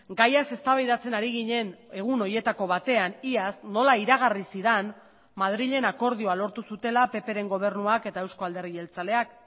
gaiaz eztabaidatzen ari ginen egun horietako batean iaz nola iragarri zidan madrilen akordioa lortu zutela ppren gobernuak eta euzko alderdi jeltzaleak